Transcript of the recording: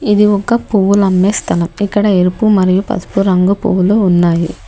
ఇది ఒక పువ్వులు అమ్మే స్థలం ఇక్కడ ఎరుపు మరియు పసుపు రంగు పువ్వులు ఉన్నాయి.